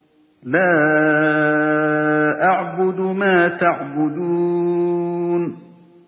لَا أَعْبُدُ مَا تَعْبُدُونَ